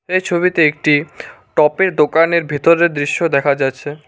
এই ছবিতে একটি পপের দোকানের ভিতরের দৃশ্য দেখা যাচ্ছে।